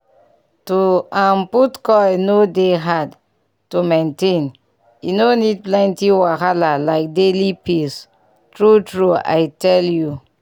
to um put coil no dey hard to maintain e no need plenty wahala like daily pills. true true i tell u